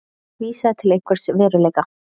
vísaði til einhvers veruleika.